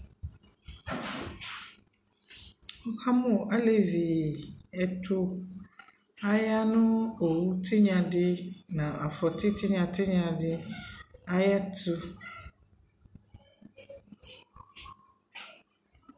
wʋ kamʋ alɛviɛtʋ, ayanʋ ɔwʋ tinya di nʋ aƒɔti tinya tinya ayɛtʋ